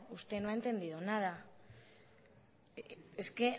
usted no ha entendido nada es que